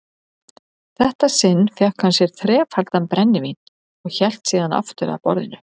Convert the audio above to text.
þetta sinn fékk hann sér þrefaldan brennivín og hélt síðan aftur að borðinu.